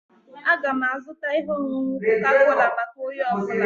Aga m azụta ihe ọṅụṅụ koka-kola maka onye ọ bụla